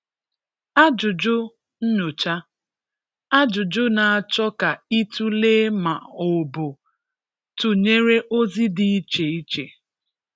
Ajụjụ Nnyocha: Ajụjụ na-achọ ka i tulee ma o bụ tụnyere ozi dị iche-iche.